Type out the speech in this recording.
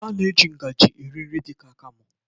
A na-eji ngajị eri nri dị ka akamụ.